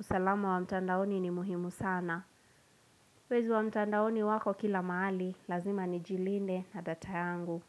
Usalamu wa mtandaoni ni muhimu sana. Wezi wa mtandaoni wako kila mahali. Lazima nijilinde na data yangu.